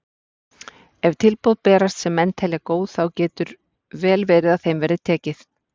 Ef tilboð berast sem menn telja góð þá getur vel verið að þeim verði tekið.